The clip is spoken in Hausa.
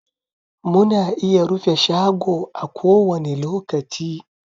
Muna iya rufe shago a kowani lokaci